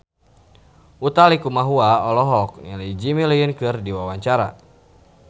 Utha Likumahua olohok ningali Jimmy Lin keur diwawancara